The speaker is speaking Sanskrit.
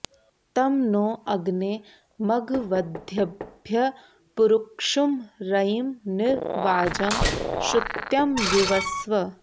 तं नो अग्ने मघवद्भ्यः पुरुक्षुं रयिं नि वाजं श्रुत्यं युवस्व